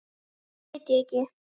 Nú veit ég ekki.